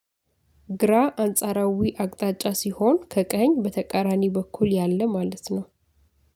ግራ አንጻራዊ አቅጣጫ ሲሆን ከቀኝ በተቃራኒ በኩል ያለ ማለት ነው።